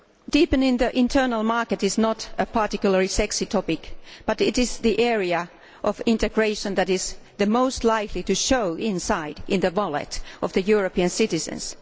Deepening the internal market is not a particularly sexy topic, but it is the area of integration that is the most likely to show inside the wallets of European citizens.